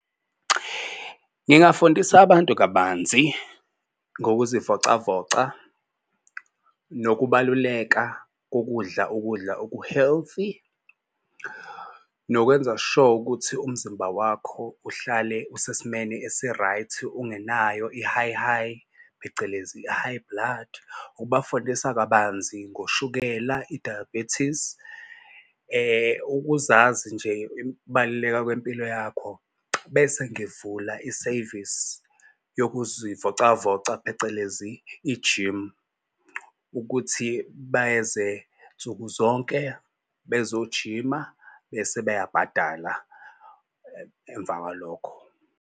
Ngingafundisa abantu kabanzi ngokuzivocavoca nokubaluleka kokudla ukudla oku-healthy nokwenza sure ukuthi umzimba wakho uhlale usesimeni esi-right ungenayo i-high high phecelezi high blood ukubafundisa kabanzi ngoshukela i-diabetes. Ukuzazi nje ukubaluleka kwempilo yakho. Bese ngivula isevisi yokuzivocavoca phecelezi i-gym ukuthi beze nsuku zonke bezojima bese bayabhadala emva kwalokho.